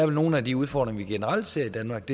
nogle af de udfordringer vi generelt ser i danmark